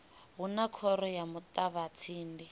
hu na khoro ya muṱavhatsindi